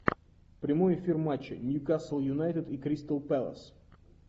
прямой эфир матча ньюкасл юнайтед и кристал пэлас